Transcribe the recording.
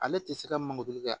Ale tɛ se ka mankoju kɛ